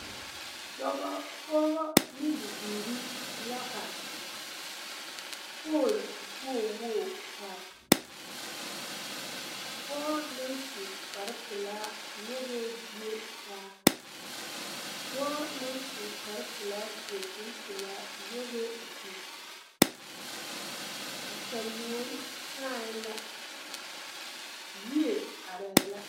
Dɔbɔ, pɔgebɔ ne biiri la are pooli wogi wogi pare pɔge naŋ su kpare pelaa nyɔgɛɛ bie taa dɔɔ naŋ su kpare pelaa seɛ kuri pelaa nyɔgɛɛ o zu a saluo saɛ la yie arɛɛ la.